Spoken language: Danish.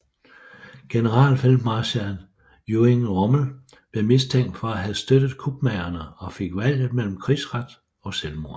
Generalfeltmarskal Erwin Rommel blev mistænkt for at have støttet kupmagerne og fik valget mellem krigsret og selvmord